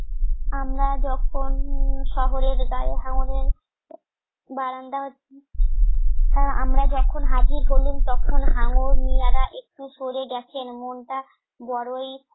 আমরা যখন শহরের গায়ে হাঙ্গরের বারান্দা আমরা যখন হাজির হলাম তখন হাঙ্গর মিঞারা একটু সরে গেছেন মনটা বড়ই